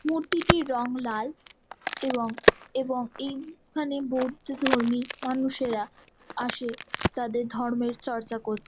মূর্তিটির রং লাল এবং এবং এইখানে বৌদ্ধ ধর্মীয় মানুষ -এরা আসে তাদের ধর্ম চর্চা করতে |